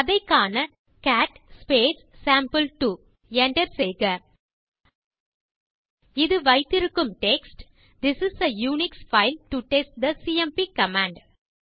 அதை காண டைப் செய்வோம் கேட் சேம்பிள்2 enter செய்க இது வைத்திருக்கும் text this is a Unix file to test the CMP command